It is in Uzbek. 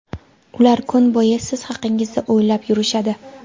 Ular kun bo‘yi siz haqingizda o‘ylab yurishadi.